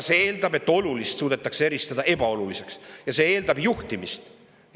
See eeldab, et olulist suudetakse eristada ebaolulisest, ja see eeldab juhtimist.